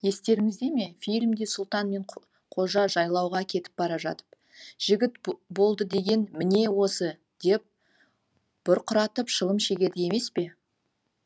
естеріңізде ме фильмде сұлтан мен қожа жайлауға кетіп бара жатып жігіт болды деген міне осы деп бұрқыратып шылым шегеді емес пе